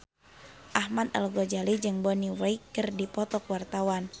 Ahmad Al-Ghazali jeung Bonnie Wright keur dipoto ku wartawan